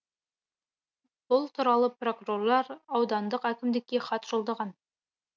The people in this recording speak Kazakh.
бұл туралы прокурорлар аудандық әкімдікке хат жолдаған